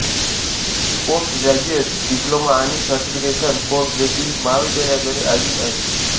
post graduate diploma आणि certification course देखील महाविद्यालयाद्वारे आयोजित आहेत